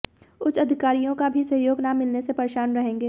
उच्च अधिकारियों का भी सहयोग ना मिलने से परेशान रहेंगे